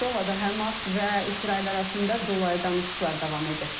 Doqada Həmas və İsrail arasında dolayı danışıqlar davam edir.